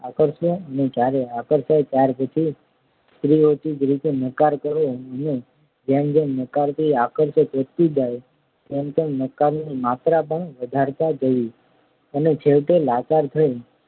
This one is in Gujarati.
આકર્ષવો અને જ્યારે આકર્ષાય ત્યાર પછી સ્ત્રીઓચિત રીતે નકાર કરવો અને જેમ જેમ નકારથી આકર્ષણ વધતું જાય તેમ તેમ નકારની માત્રા પણ વધારતા જવી અને છેવટે લાચાર થઈ